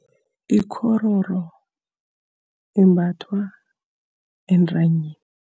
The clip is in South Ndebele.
Ikghororo imbathwa entanyeni.